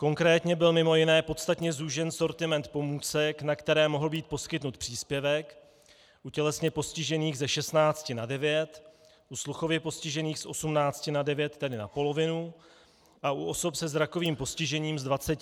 Konkrétně byl mimo jiné podstatně zúžen sortiment pomůcek, na které mohl být poskytnut příspěvek, u tělesně postižených ze 16 na 9, u sluchově postižených z 18 na 9, tedy na polovinu, a u osob se zrakovým postižením z 20 na 17 položek.